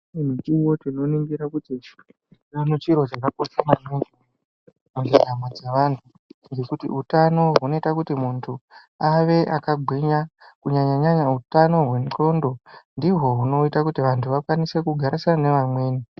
Umweni mukuwo tinoringira kuti utano chiro chakakosha maningi mumdaramo dzevanthu ngekuti utano hunoita kuti munthu ave akagwinya kunyanya utano hwendxondo ndihwo hunoita kuti vanthu vakwanise kugarisana nevamweni .